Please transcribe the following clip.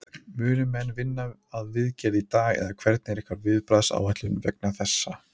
Munu menn vinna að viðgerð í dag eða hvernig er ykkar viðbragðsáætlun vegna þessa?